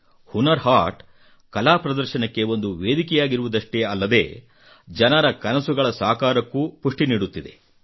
ಹುನರ್ ಹಾಟ್ ಕಲಾ ಪ್ರದರ್ಶನಕ್ಕೆ ಒಂದು ವೇದಿಕೆಯಾಗಿರುವುದಷ್ಟೇ ಅಲ್ಲದೆ ಜನರ ಕನಸುಗಳ ಸಾಕಾರಕ್ಕೂ ಪುಷ್ಟಿ ನೀಡುತ್ತಿದೆ